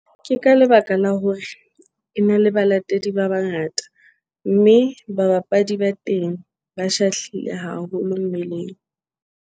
Ke ka lebaka la hore e na le balatedi ba bangata, mme ba bapadi ba teng ba shahlile haholo mmeleng.